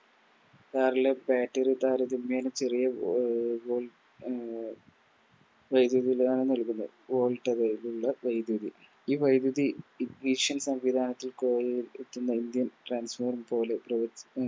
Car ലെ Battery താരതമ്യേന ചെറിയ അഹ് വേഗതയിലാണ് നൽകുന്നത് വൈദ്യുതി ഈ വൈദ്യുതി സംവിധാനത്തിൽ Indian transformer പോലെ പ്രവർ